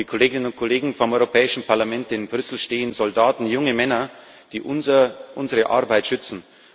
Liebe Kolleginnen und Kollegen, vor dem Europäischen Parlament in Brüssel stehen Soldaten, junge Männer, die unsere Arbeit schützen.